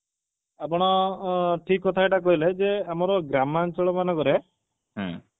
ଆପଣ ଅ ଅ ଠିକ କଥା ଗୋଟେ କହିଲେ ଯେ ଆମର ଗ୍ରାମାଞ୍ଚଳ ମାନଙ୍କରେ